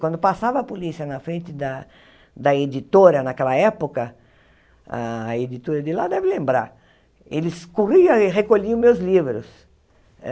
Quando passava a polícia na frente da da editora naquela época, a editora de lá deve lembrar, eles corriam e recolhiam meus livros.